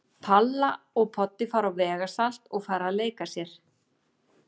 Palla og Poddi fara á vegasalt og fara að leika sér.